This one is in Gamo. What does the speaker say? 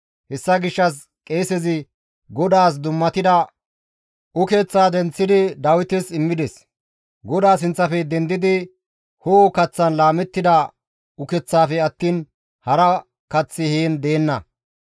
Hessa gishshas qeesezi GODAAS dummatida ukeththaa denththidi Dawites immides; GODAA sinththafe dendidi ho7o kaththan laamettida ukeththafe attiin hara kaththi heen deenna.